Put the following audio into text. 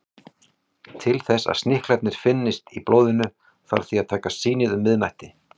Til þess að sníklarnir finnist í blóðinu þarf því að taka sýnið um miðnætti.